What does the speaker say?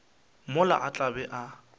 mola a tla be a